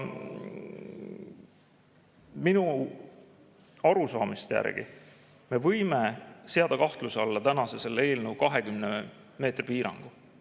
Minu arusaamise järgi me võime seada kahtluse alla tänase eelnõu 20 meetri piirangu.